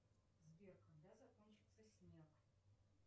сбер когда закончится снег